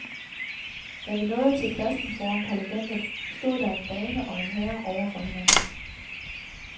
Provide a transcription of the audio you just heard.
Da vi nåede til pladsen foran parlamentet, stod der en dame og en herre over for hinanden.